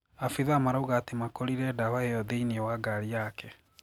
Abitha marauga ati makorire dawa iyo thiinie wa ngarĩ yake.